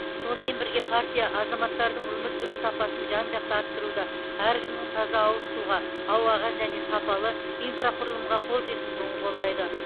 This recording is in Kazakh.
сонымен бірге партия азаматтардың өмір сүру сапасын жан жақты арттыруды әркімнің таза ауыз суға ауаға және сапалы инфрақұрылымға қол жеткізуін қолдайды